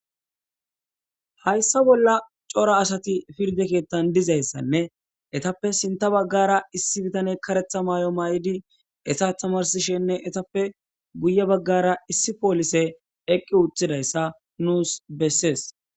Hayssa bolla cora asati pirde keettan dizayssanne etappe sinta baggara issi bitane karetha maay7o maa7idi esa tamarsishenne etappe guye baggara issi poolise eqqi wuthidayssa nuus bessees.